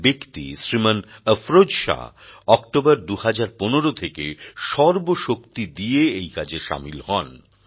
এক ব্যক্তি শ্রীমান অফরোজ শাহ অক্টোবর ২০১৫ থেকে সর্বশক্তি দিয়ে এই কাজে শামিল হন